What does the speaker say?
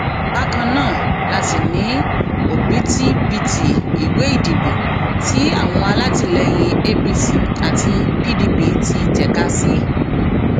bákan náà la sì ní òbítíbitì ìwé ìdìbò tí àwọn alátìlẹyìn apc àti pdp ti tẹka sí